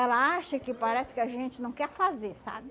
Ela acha que parece que a gente não quer fazer, sabe?